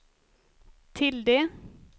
tilde